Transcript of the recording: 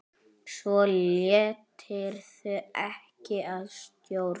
Svo létirðu ekki að stjórn.